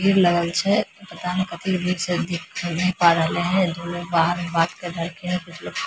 भीड़ लगल छै पता ने कथी के भीड़ छै दिख ता ने पा रहले हेय दो लोग बाहर मे बात कर रहलखिन कुछ लोग --